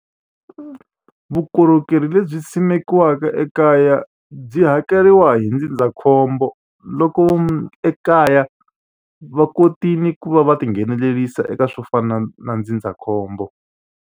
Vukorhokeri lebyi simekiweke ekaya byi hakeriwa hi ndzindzakhombo loko ekaya va kotile ku va va tinghenelerisa eka swo fana na ndzindzakhombo.